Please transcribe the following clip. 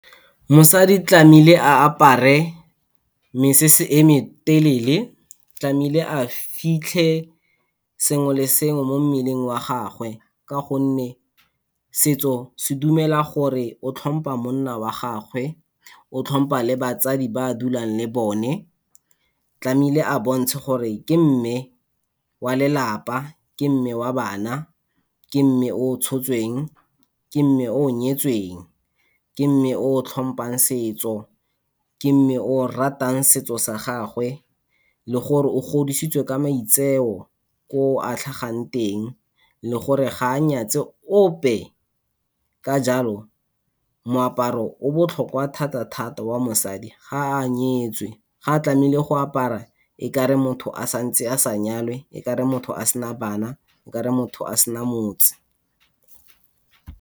Mosadi tlamehile a apare mesese e me telele, tlamehile a fitlhe sengwe le sengwe mo mmeleng wa gagwe, ka gonne setso se dumela gore o tlhompa monna wa gagwe, o tlhompa batsadi ba a dulang le bone. Tlamehile a bontshe gore ke mme wa lelapa, ke mme wa bana, ke mme o o tshotsweng, ke mme o nyetsweng, ke mme o tlhompang setso, ke mme o ratang setso sa gagwe le gore o godisitswe ka maitseo ko a tlhagang teng le gore ga a nyatse ope. Ka jalo moaparo o botlhokwa thata-thata wa mosadi ga a nyetswe, ga tlamehile go apara okare motho a sa ntse a sa nyalwa, o ka re motho a sena bana, o ka re motho a sena motse.